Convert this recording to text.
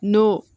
N'o